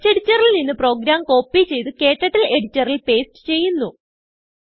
textഎഡിറ്ററിൽ നിന്ന് program copy ചെയ്ത് ക്ടർട്ടിൽ എഡിറ്ററിൽ പേസ്റ്റ് ചെയ്യുന്നു